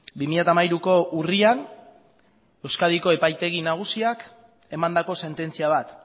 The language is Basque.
bi mila hamairuko urrian euskadiko epaitegi nagusiak emandako sententzia bat